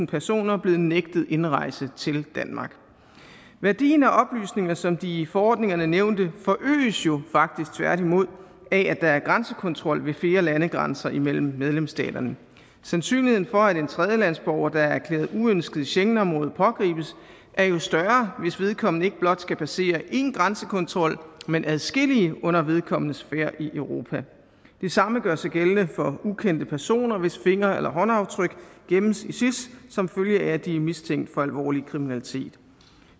personer blevet nægtet indrejse til danmark værdien af oplysninger som de i forordningerne nævnte forøges jo faktisk tværtimod af at der er grænsekontrol ved flere landegrænser mellem medlemsstaterne sandsynligheden for at en tredjelandsborger der er erklæret uønsket i schengenområdet pågribes er jo større hvis vedkommende ikke blot skal passere én grænsekontrol men adskillige under vedkommendes færd i europa det samme gør sig gældende for ukendte personer hvis finger eller håndaftryk gemmes i sis som følge af at de er mistænkt for alvorlig kriminalitet